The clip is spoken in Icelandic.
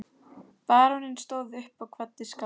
Baróninn stóð upp og kvaddi skáldið.